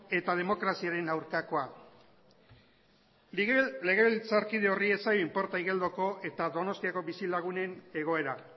eta demokraziaren aurkakoa legebiltzarkide horri ez zaio inporta igeldoko eta donostiako bizilagunen egoera